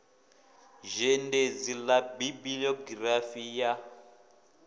zhendedzi ḽa bibi iogirafi ḽa